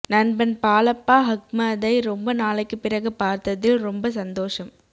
நண்பன் பாலப்பா அஹ்மதை ரொம்ப நாளைக்கு பிறகு பார்த்ததில் ரொம்ப சந்தோசம்